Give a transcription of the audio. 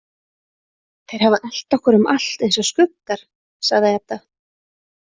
Þeir hafa elt okkur um allt eins og skuggar, sagði Edda.